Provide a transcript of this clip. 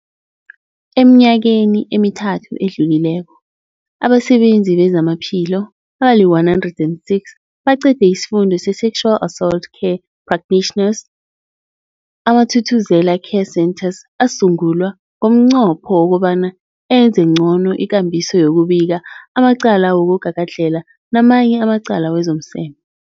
Eminyakeni emithathu edluleko, abasebenzi bezamaphilo abali-106 baqede isiFundo se-Sexual Assault Care Practitioners. AmaThuthuzela Care Centres asungulwa ngomnqopho wokobana enze ngcono ikambiso yokubika amacala wokugagadlhela namanye amacala wezomseme.